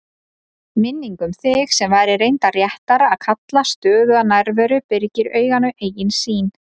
Minningin um þig, sem væri reyndar réttara að kalla stöðuga nærveru, byrgir auganu eigin sýn.